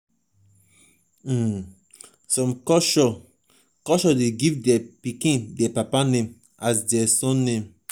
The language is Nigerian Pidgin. um some culture culture de give their pikin their papa name as their surname